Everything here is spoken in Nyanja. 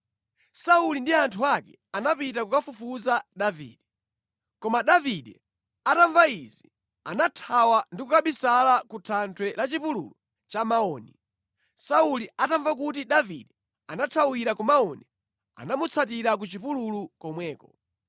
Sauli ndi anthu ake anapita kukamufufuza Davide. Koma Davide atamva izi anathawa ndi kukabisala ku thanthwe la chipululu cha Maoni. Sauli atamva kuti Davide anathawira ku Maoni anamutsatira ku chipululu komweko.